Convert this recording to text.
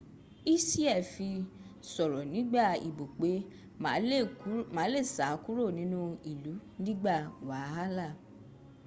hsieh fi soro nigba ibo pe ma le sa kuro ninu ilu nigba wahala